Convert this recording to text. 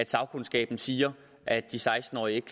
sagkundskaben siger at de seksten årige ikke